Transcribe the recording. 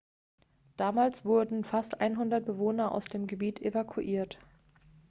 damals wurden fast 100 bewohner aus dem gebiet evakuiert